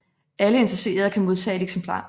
Alle interesserede kan modtage et eksemplar